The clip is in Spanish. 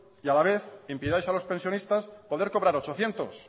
y a la vez impidáis a los pensionistas poder cobrar ochocientos